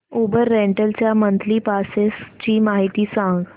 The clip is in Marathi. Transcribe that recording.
उबर रेंटल च्या मंथली पासेस ची माहिती सांग